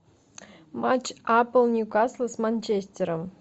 матч апл ньюкасл с манчестером